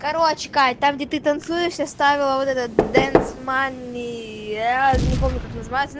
короче кать там где ты танцуешь я вставила вот этот денц мании аа не помню как называется